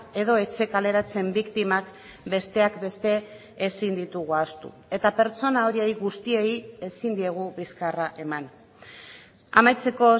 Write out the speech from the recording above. edo etxe kaleratzeen biktimak besteak beste ezin ditugu ahaztu eta pertsona horiei guztiei ezin diegu bizkarra eman amaitzeko